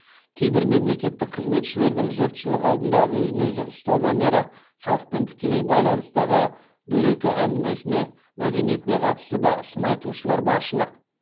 кейбір мемлекеттік қызметшілердің жұртшылық алдында өзін өзі ұстау мәнері халықпен тікелей байланыстағы дөрекі әңгімесіне мәдениетіне қатысты да сын айтушылар баршылық